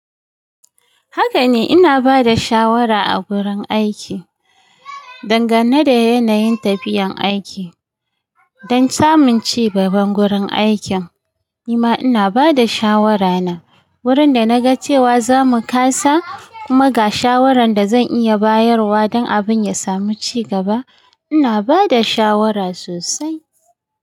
Haka ne, ina ba da shawara a gurin aiki dangane da yanayin tafiyan aiki. Don samun ci gaban gurin aikin, nima ina ba da shawarana. Wurin da na ga cewa zamu kasa, kuma ga shawarar da zan iya bayarwa don abun ya samu ci gaba. Ina ba da shawara sosai.